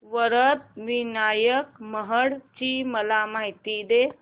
वरद विनायक महड ची मला माहिती दे